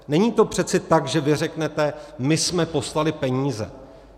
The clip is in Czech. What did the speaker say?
Není to přece tak, že vy řeknete: my jsme poslali peníze.